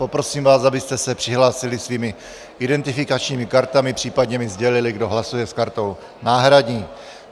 Poprosím vás, abyste se přihlásili svými identifikačními kartami, případně mi sdělili, kdo hlasuje s kartou náhradní.